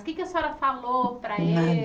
O que é que a senhora falou para el Nada